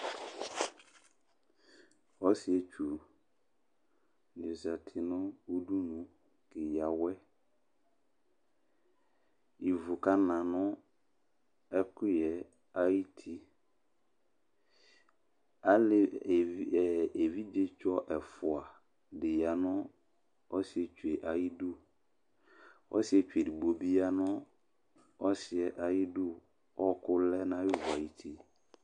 ɔsiɛtsũɗi zɑti ɲũɗụɲʊ kɛyɑwẽ ki vụkɑɲɑ ṅụ ɛkụyẽ ɑyũti ɑlɛ ɛvidzɛ chɔ ǝfụɑɗiyɑ nụ ọsiɛtsuɑyiɗũ ọsiɛtsụɗigbọ ḅliyɑ 'ɲu ɔsiɛ ɑyiɗʊ ókʊlɛɲɑyɛtu